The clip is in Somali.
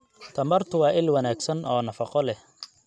Tamartu waa il wanaagsan oo nafaqo leh.